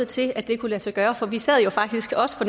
til at det kunne lade sig gøre for vi sad jo faktisk også for